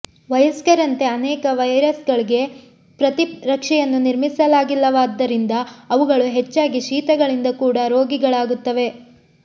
ವಯಸ್ಕರಂತೆ ಅನೇಕ ವೈರಸ್ಗಳಿಗೆ ಪ್ರತಿರಕ್ಷೆಯನ್ನು ನಿರ್ಮಿಸಲಾಗಿಲ್ಲವಾದ್ದರಿಂದ ಅವುಗಳು ಹೆಚ್ಚಾಗಿ ಶೀತಗಳಿಂದ ಕೂಡ ರೋಗಿಗಳಾಗುತ್ತವೆ